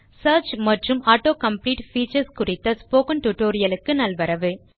search மற்றும் auto complete features குறித்த spoken tutorial க்கு நல்வரவு